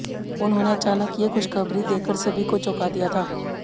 उन्होंने अचानक ये खुशखबरी देकर सभी को चौंका दिया था